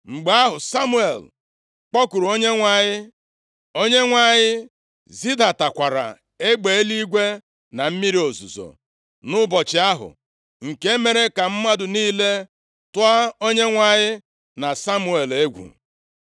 Mgbe ahụ Samuel kpọkuru Onyenwe anyị, Onyenwe anyị zidatakwara egbe eluigwe na mmiri ozuzo nʼụbọchị ahụ. Nke a mere ka mmadụ niile tụọ Onyenwe anyị na Samuel egwu.